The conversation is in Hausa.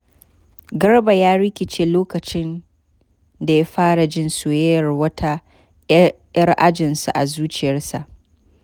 Garba ya rikice lokacin da ya fara jin soyayyar wata ‘yar ajinsu a zuciyarsa.